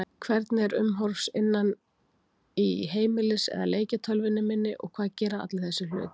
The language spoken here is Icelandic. Hvernig er umhorfs innan í heimilis- eða leikjatölvunni minni og hvað gera allir þessir hlutir?